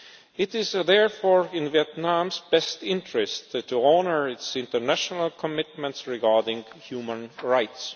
It is therefore in Vietnam's best interests to honour its international commitments regarding human rights.